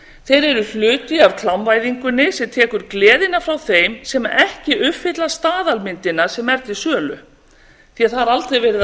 þeir eru hluti af klámvæðingunni sem tekur gleðina frá þeim sem ekki uppfylla staðalmyndina sem er til sölu því að það er aldrei verið að